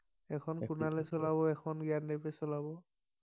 এখন কুনালে চলাব এখন জ্ঞানদীপে চলাব